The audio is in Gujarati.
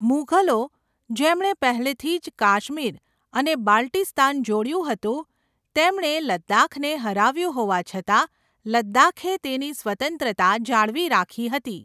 મુઘલો, જેમણે પહેલેથી જ કાશ્મીર અને બાલ્ટિસ્તાન જોડ્યું હતું, તેમણે લદ્દાખને હરાવ્યું હોવા છતાં, લદ્દાખે તેની સ્વતંત્રતા જાળવી રાખી હતી